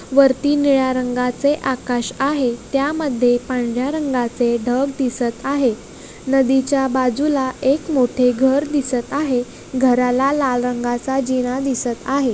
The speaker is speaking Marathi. वरती निळ्या रंगाचे आकाश आहे त्यामध्ये पांढऱ्या रंगाचे ढग दिसत आहे नदीच्या बाजूला एक मोठे घर दिसत आहे घराला लाल रंगाचा जिना दिसत आहे.